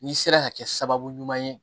N'i sera ka kɛ sababu ɲuman ye